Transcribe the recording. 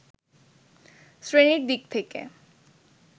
শ্রেণির দিক থেকে